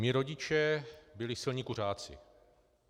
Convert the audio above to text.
Mí rodiče byli silní kuřáci.